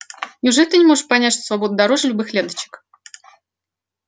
неужели ты не можешь понять что свобода дороже любых ленточек